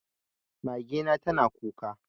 Mage na tana kuka.